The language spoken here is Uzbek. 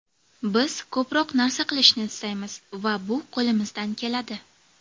Biz ko‘proq narsa qilishni istaymiz va bu qo‘limizdan keladi.